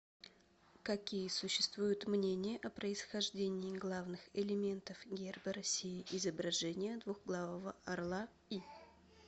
какие существуют мнения о происхождении главных элементов герба россии изображение двуглавого орла и